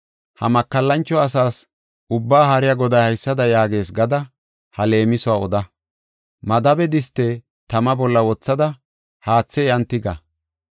Ha makallancho asaas Ubba Haariya Goday haysada yaagees gada ha leemisuwa oda. Madabe diste tama bolla wothada haathe iyan tiga.